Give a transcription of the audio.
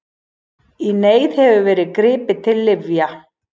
Í neyð hefur verið gripið til lyfja.